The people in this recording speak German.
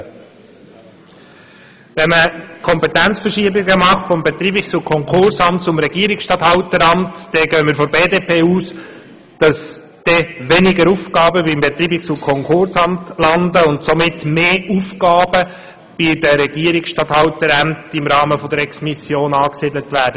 Wenn man Kompetenzverschiebungen vom Betreibungs- und Konkursamt zum Regierungsstatthalteramt vornimmt, gehen wir von der BDP-Fraktion davon aus, dass dann weniger Aufgaben beim Betreibungs- und Konkursamt landen und im Rahmen von Exmissionen mehr Aufgaben bei den Regierungsstatthalterämtern angesiedelt werden.